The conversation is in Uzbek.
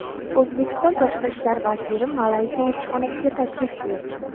O‘zbekiston Tashqi ishlar vaziri Malayziya elchixonasiga tashrif buyurdi.